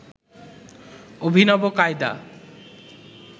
অভিনব কায়দা